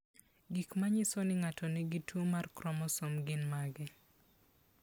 Gik manyiso ni ng'ato nigi tuwo mar kromosom gin mage?